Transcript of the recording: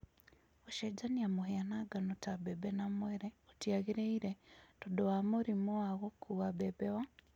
Gũchenjania mũhĩa na ngano ta mbembe na mwere gũtiagĩrĩire, tondũ wa mũrimũ wa gũkua mbembe wa